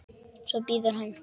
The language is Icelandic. Svo bíður hann.